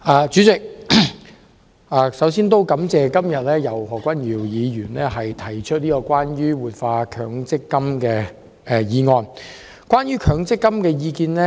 代理主席，首先感謝何君堯議員今天提出"活化強制性公積金"議案。